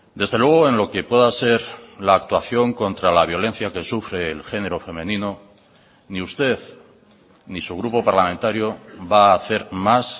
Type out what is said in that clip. desde luego en lo que pueda ser la actuación contra la violencia que sufre el género femenino ni usted ni su grupo parlamentario va a hacer más